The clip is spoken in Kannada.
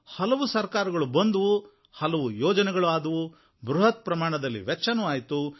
ಹಲವು ಸರಕಾರಗಳು ಬಂದವು ಹಲವು ಯೋಜನೆಗಳು ಆದವು ಬೃಹತ್ ಪ್ರಮಾಣದಲ್ಲಿ ವೆಚ್ಚವೂ ಆಯಿತು